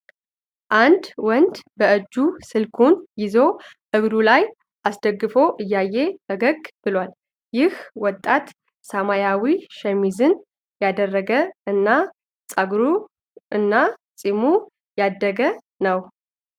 አንድ ወንድ በእጁ ስልኩን ይዞ እግሩ ላይ አስደግፎ እያየ ፈገግ ብሏል። ይህ ወጣት ሰማያዊ ሸሚዝን ያደረገ እና ጸጉር እና ጺሙ ያደገ ነው።